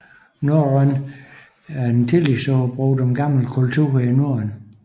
Norrøn er et tillægsord brugt om gamle kulturer i Norden